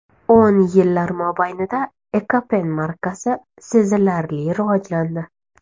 O‘n yillar mobaynida Ekopen markasi sezilarli rivojlandi.